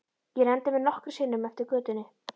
Ég renndi mér nokkrum sinnum eftir götunni.